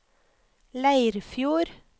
Leirfjord